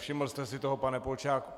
Všiml jste si toho, pane Polčáku?